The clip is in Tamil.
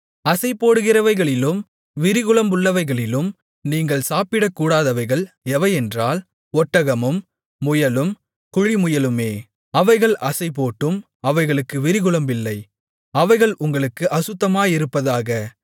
அசைபோடுகிறவைகளிலும் விரிகுளம்புள்ளவைகளிலும் நீங்கள் சாப்பிடக்கூடாதவைகள் எவையென்றால் ஒட்டகமும் முயலும் குழிமுயலுமே அவைகள் அசைபோட்டும் அவைகளுக்கு விரிகுளம்பில்லை அவைகள் உங்களுக்கு அசுத்தமாயிருப்பதாக